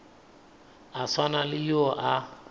a swana le yo a